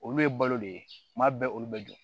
Olu ye balo de ye kuma bɛɛ olu bɛ jɔ